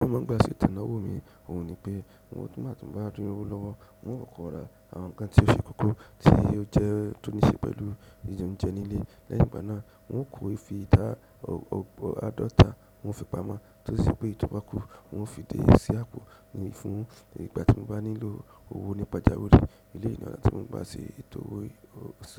Mo máa ń gba ètò ìnáwó mi. Òhun ni pé, tí mo bá tí lowó lọ́wọ́, un óò kọkọra àwọn nǹkan tí ó ṣe kókó tí ó jẹ́ tó ní ṣe pẹ̀lú jìjẹ oúnjẹ nílé. Lẹ́yìn ìgbà náà, un óò kó fi ìtà adọ̀ọ̀ta, un óò fi pamọ́ tó sì pé èyí tò bá kú, un óò fi dé sí àpò ni fún ìgbà tí mo bá nílò owó nípajáwiri. Elé ọná tí mo ń gba ṣe